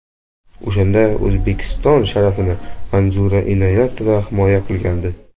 O‘shanda O‘zbekiston sharafini Manzura Inoyatova himoya qilgandi.